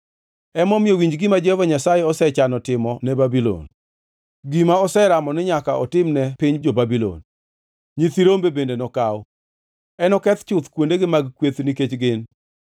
Emomiyo, winj gima Jehova Nyasaye osechano timo ne Babulon, gima oseramo ni nyaka otimne piny jo-Babulon: Nyithi rombe bende nokaw; enoketh chuth kuondegi mag kwath nikech gin.